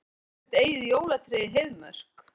Höggva sitt eigið jólatré í Heiðmörk